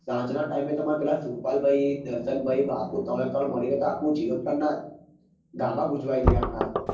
સાંજના ટાઈમ એ તમાર પેલા સ્ર્પાલભાઈ દર્શનભાઈ બાપુ